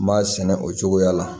N b'a sɛnɛ o cogoya la